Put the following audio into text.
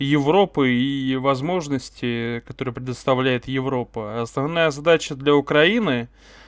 европы и возможности которые предоставляет европа основная задача для украины